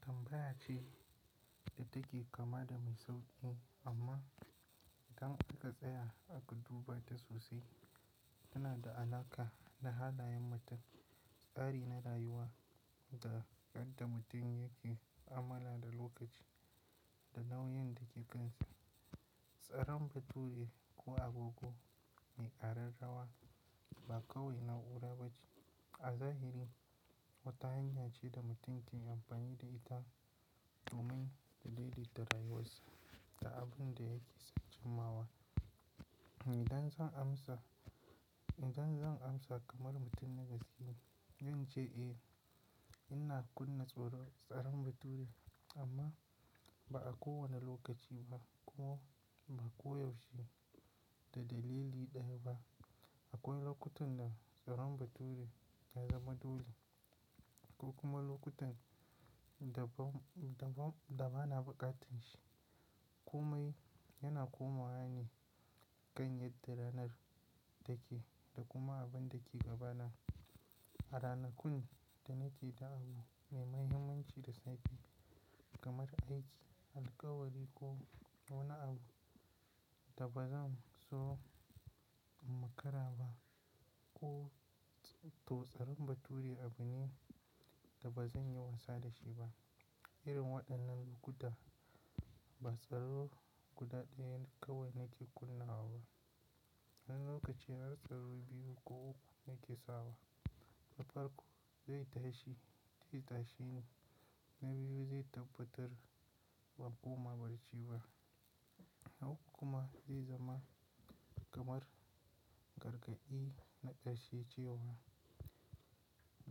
Tambaya ce da take kama da mai sauƙi amma idan aka tsaya aka duba ta sosai tana da alaƙa da halayen mutum, tsari na rayuwa da yadda mutum yake ma'amala da lokaci da nauyin da ke kansa. Tsaron bature ko agogo me ƙa rarrawa ba kawai na'ura ba ce. A zahiri wata hanyar ce da mutum ke amfani da ita domin ya dai dai ta rayuwarsa da abin da yake son cinmawa. Idan zan amsa, idan zan amsa kamar mutum ne gaskiya, zan ce eh ina kunna tsaron bature amma ba a kowane lokaci ba ko ba koyaushe da dalili ɗaya ba. Akwai lokutan da tsaron bature ya zama dole ko kuma lokutan da ba, da ba, da bana buƙatar shi. Komai yana komawa ne ganyen da ranar take da kuma abin da ke gabana. A ranakun da nake da abu mai mahimmanci da sake kamar aiki, alkawari ko wani abu da bazan so in makara ba ko to tsaron bature abu ne da bazan yi wasa da shi ba. Irin waɗannan guda ba tsaro guda ɗaya kawai nake kunnawa ba. Wani lokaci har tsaro biyu ko uku nake sawa. Na farko zai tashi, tashi ne, na biyu zai tabbatar ban koma barci ba, na uku kuma zai zama kamar gargaɗi na ƙarshe ce wa.